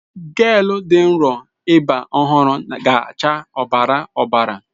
Gel dị nro ịba ọhụrụ ga-acha ọbara ọbara.